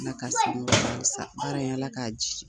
Aka ka sigi baara in ala k'a jiidi.